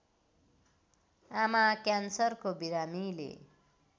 आमा क्यान्सरको बिरामीले